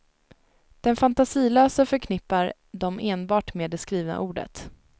Den fantasilöse förknippar dem enbart med det skrivna ordet.